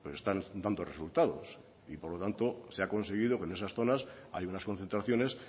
están dando resultados por lo tanto se ha conseguido que en esas zonas hay unas concentraciones